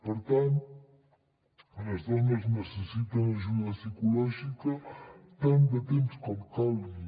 per tant les dones necessiten ajuda psicològica tant de temps com calgui